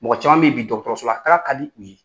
Mɔgɔ caman b' i bi dɔgɔtɔrɔsola taga ka di u ye